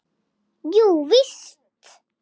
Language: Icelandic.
Jú, víst.